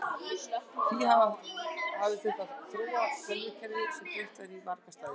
Því hafi þurft að þróa tölvukerfi sem dreift væri á marga staði.